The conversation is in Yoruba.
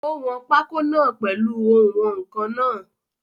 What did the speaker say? Ó wọn pákó náà pèlu oùnwọ̀nkan náà.